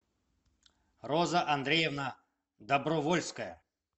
роза андреевна добровольская